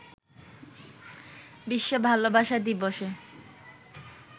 বিশ্ব ভালোবাসা দিবসে